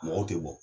Mɔgɔw tɛ bɔ